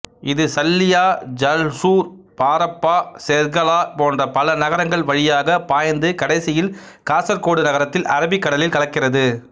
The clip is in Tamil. இது சல்லியா ஜல்சூர் பாரப்பா செர்கலா போன்ற பல நகரங்கள் வழியாகப் பாய்ந்து கடைசியில் காசர்கோடு நகரத்தில் அரபிக்கடலில் கலக்கிறது